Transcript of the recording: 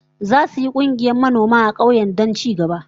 Zasu yi kungiyar manoma a kauyen don ci gaba